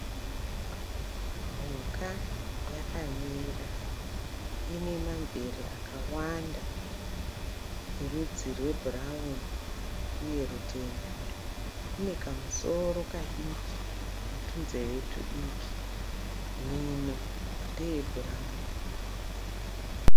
Mhuka yakamira. Ine mamvere akawanda erudzi rwebhurawuni uye rutema. Ine kamusoro kadiki netunzeve tudiki. Mhino ndeyebhurawuni.